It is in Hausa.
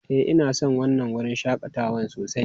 Ee, ina son wannan wurin shakatawan sosai.